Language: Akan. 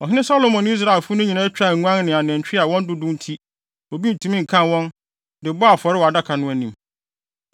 Ɔhene Salomo ne Israelfo no nyinaa twaa nguan ne anantwi a wɔn dodow nti, obi ntumi nkan wɔn, de bɔɔ afɔre wɔ adaka no anim.